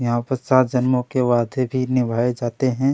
यहाँ पे सात जन्मो के वादे भी निभाए जाते है।